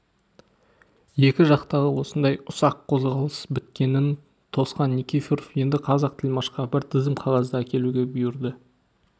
екі жақтағы осындай ұсақ қозғалыс біткенін тосқан никифоров енді қазақ тілмашқа бір тізім қағазды әкелуге бұйырды